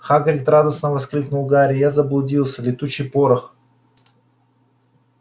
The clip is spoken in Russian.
хагрид радостно воскликнул гарри я заблудился летучий порох